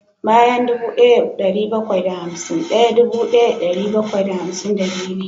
Bayan dubu daya da dari bakwai da hamsin daya dubu daya da dari bakwai da hamsin da biyu ne